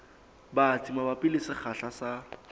batsi mabapi le sekgahla sa